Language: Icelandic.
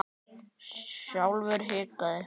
Sjálfur hikaði